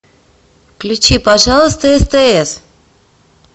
включи пожалуйста стс